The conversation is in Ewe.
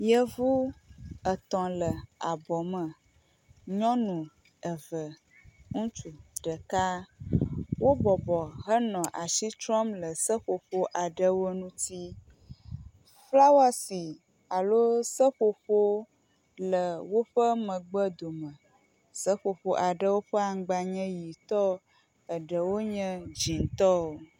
Yevu etɔ̃ le abɔ me. Nyɔnu eve, ŋutsu ɖeka wo bɔbɔ henɔ asi trɔm le seƒoƒo aɖe ŋuti. Flawasi alo seƒoƒo le woƒe megbedome. Seƒoƒo aɖewo ƒe aŋgba nye ʋitɔ eɖewo nye dzitɔ.